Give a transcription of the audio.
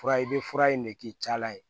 Fura i bɛ fura in de k'i cayala ye